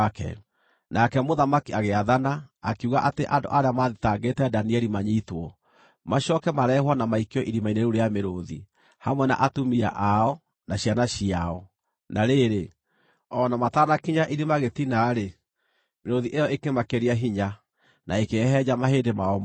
Nake Mũthamaki agĩathana, akiuga atĩ andũ arĩa maathitangĩte Danieli manyiitwo, macooke marehwo na maikio irima-inĩ rĩu rĩa mĩrũũthi, hamwe na atumia ao, na ciana ciao. Na rĩrĩ, o na matanakinya irima gĩtina-rĩ, mĩrũũthi ĩyo ĩkĩmakĩria hinya, na ĩkĩhehenja mahĩndĩ mao mothe.